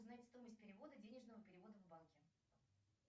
узнать стоимость перевода денежного перевода в банке